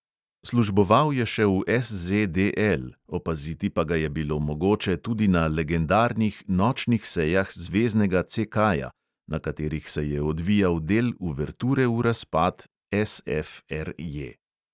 Služboval je še v SZDL, opaziti pa ga je bilo mogoče tudi na legendarnih nočnih sejah zveznega CK-ja, na katerih se je odvijal del uverture v razpad SFRJ.